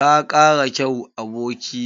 Ka kara kyau, aboki na.